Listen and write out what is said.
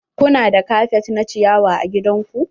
Ku na da kafet na ciyawa a gidan ku?